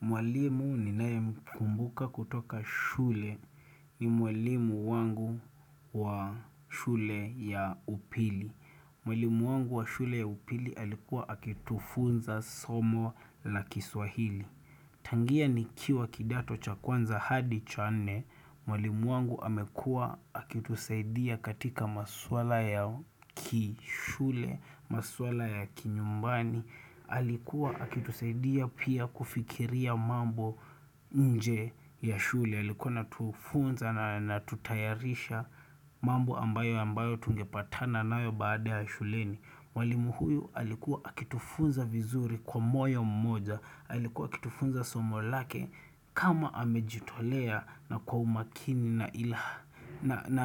Mwalimu ninaemkumbuka kutoka shule ni mwalimu wangu wa shule ya upili. Mwalimu wangu wa shule ya upili alikuwa akitufunza somo la kiswahili. Tangia ni kiwa kidato cha kwanza hadi cha nne, mwalimu wangu amekua akitusaidia katika maswala ya kishule, maswala ya kinyumbani. Alikuwa akitusaidia pia kufikiria mambo nje ya shule Alikuwa anatufunza na anatutayarisha mambo ambayo ambayo tungepatana nayo baada ya shuleni mwalimu huyu alikuwa akitufunza vizuri kwa moyo mmoja Alikuwa akitufunza somo lake kama amejitolea na kwa umakini na ilaha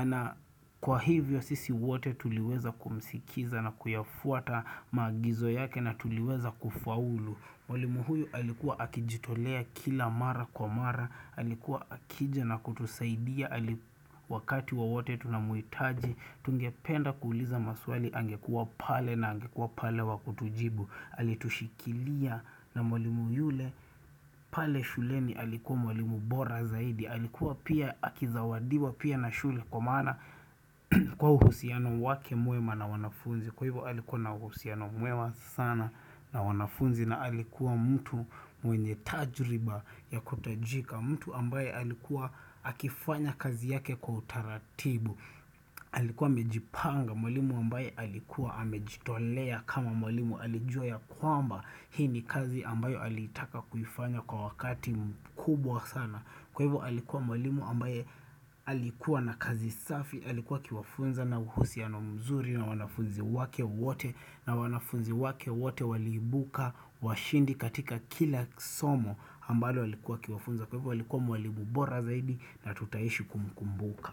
na kwa hivyo sisi wote tuliweza kumsikiza na kuyafuata maagizo yake na tuliweza kufaulu Mwalimu huyu alikuwa akijitolea kila mara kwa mara Alikuwa akija na kutusaidia Alikuwa wakati wa wote tunamuitaji Tungependa kuuliza maswali angekuwa pale na angekuwa pale wa kutujibu Alitushikilia na mwalimu yule pale shuleni alikuwa mwalimu bora zaidi Alikuwa pia akizawadiwa pia na shule kwa maana kwa uhusiano wake mwema na wanafunzi Kwa hivyo alikuwa na uhusiano mwema sana na wanafunzi na alikuwa mtu mwenye tajriba ya kutajika mtu ambaye alikuwa akifanya kazi yake kwa utaratibu Alikuwa amejipanga mwalimu ambaye alikuwa amejitolea kama mwalimu alijua ya kwamba Hii ni kazi ambayo alitaka kuifanya kwa wakati kubwa sana Kwa hivyo alikuwa mwalimu ambaye alikuwa na kazi safi, alikuwa akiwafunza na uhusiano mzuri na wanafunzi wake wote na wanafunzi wake wote waliibuka washindi katika kila somo ambayo alikuwa akiwafunza Kwa hivyo alikuwa mwalimu bora zaidi na tutaishi kumkumbuka.